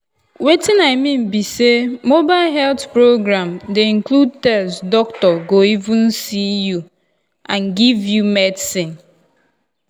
wetin i mean be say mobile health program dey include test doctor go even see you and give you medicine.